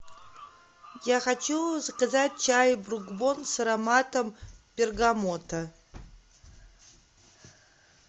я хочу заказать чай брук бонд с ароматом бергамота